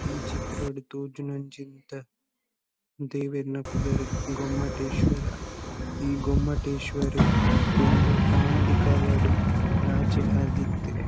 ಈ ಚಿತ್ರಡ್ ತೋಜುನಂಚಿಂತ ದೇವೆರ್ನ ಪುದರ್ ಗೊಮ್ಮಟೇಶ್ವರ. ಈ ಗೊಮ್ಮಟೇಶ್ವರೆ ದುಂಬು ಅನಾದಿ ಕಾಲಡ್ ರಾಜೆ ಆದಿತ್ತೆ.